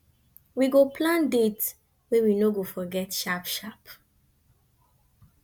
we go plan date wey we no go forget sharp sharp